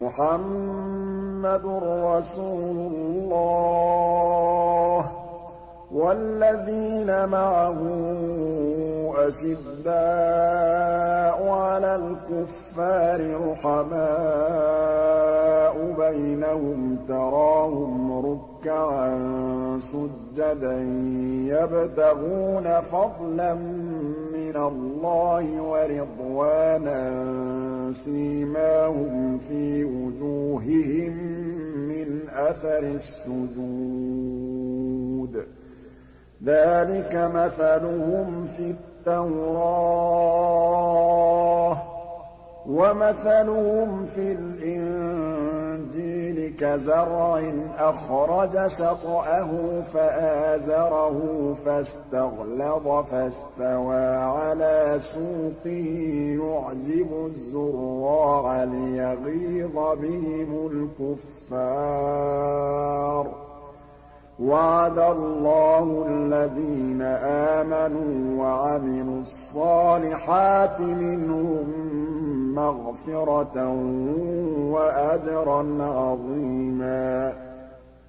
مُّحَمَّدٌ رَّسُولُ اللَّهِ ۚ وَالَّذِينَ مَعَهُ أَشِدَّاءُ عَلَى الْكُفَّارِ رُحَمَاءُ بَيْنَهُمْ ۖ تَرَاهُمْ رُكَّعًا سُجَّدًا يَبْتَغُونَ فَضْلًا مِّنَ اللَّهِ وَرِضْوَانًا ۖ سِيمَاهُمْ فِي وُجُوهِهِم مِّنْ أَثَرِ السُّجُودِ ۚ ذَٰلِكَ مَثَلُهُمْ فِي التَّوْرَاةِ ۚ وَمَثَلُهُمْ فِي الْإِنجِيلِ كَزَرْعٍ أَخْرَجَ شَطْأَهُ فَآزَرَهُ فَاسْتَغْلَظَ فَاسْتَوَىٰ عَلَىٰ سُوقِهِ يُعْجِبُ الزُّرَّاعَ لِيَغِيظَ بِهِمُ الْكُفَّارَ ۗ وَعَدَ اللَّهُ الَّذِينَ آمَنُوا وَعَمِلُوا الصَّالِحَاتِ مِنْهُم مَّغْفِرَةً وَأَجْرًا عَظِيمًا